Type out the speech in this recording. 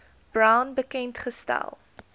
brown bekend gestel